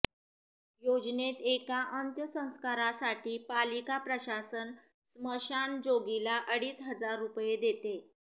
योजनेत एका अंत्यसंस्कारासाठी पालिका प्रशासन स्मशानजोगीला अडीच हजार रुपये देते